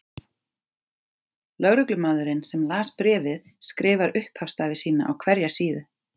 Lögreglumaðurinn sem las bréfið skrifar upphafsstafi sína á hverja síðu.